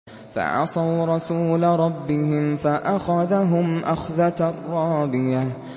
فَعَصَوْا رَسُولَ رَبِّهِمْ فَأَخَذَهُمْ أَخْذَةً رَّابِيَةً